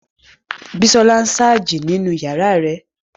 Bísọ́lá sáàjì nínu yàrá rẹ̀